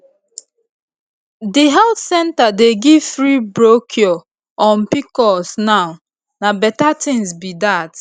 the health center dey give free brochure on pcos now na better thing be that